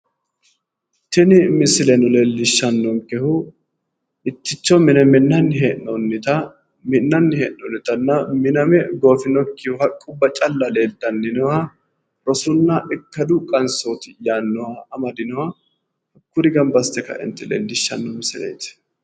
Tini misileno leellishshannonkehu mitticho mine minnanni hee'noonnitanna miname goofinokkihu haqquwa calla nooha rosunna ikkadu qansooti yaannoha kuri gamba assite ka'e leellishshanno misileeti